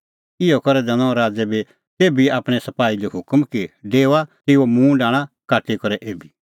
इहअ करै दैनअ राज़ै बी तेभी आपणैं सपाही लै हुकम कि डेओआ तेऊओ मूंड आणा काटी करै एभी